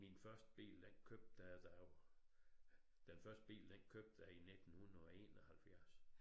Min første bil jeg da jeg var den første bil den købte jeg i 1971